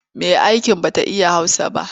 Mai'aikin ba ta iya Hausa ba.